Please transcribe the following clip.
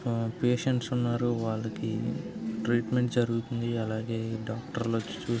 ఆ పేషేంట్స్ ఉన్నారు వాళ్ళకి అలాగే ట్రీట్మెంట్ జరుగుతుంది డాక్టర్లు వచ్చి చూస్తున్నారు.